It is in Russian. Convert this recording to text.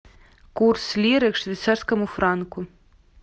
курс лиры к швейцарскому франку